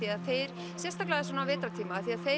þeir sérstaklega á svona vetrartíma